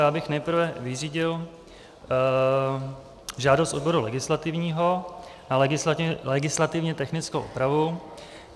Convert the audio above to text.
Já bych nejprve vyřídil žádost odboru legislativního na legislativně technickou úpravu.